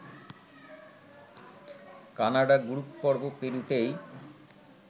Canada group পর্ব পেরুতেই